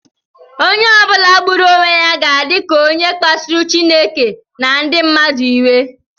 Onye ọ bụla gburu onwe ya na-adị ka onye kpasuru Chineke na ndị mmadụ iwe